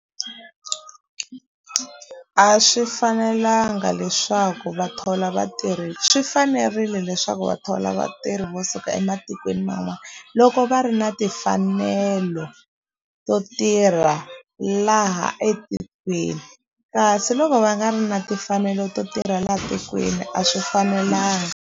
A swi fanelanga leswaku va thola vatirhi swi fanerile leswaku va thola vatirhi vo suka ematikweni man'wana loko va ri na timfanelo to tirha laha etikweni kasi loko va nga ri na timfanelo to tirha la tikweni a swi fanelanga.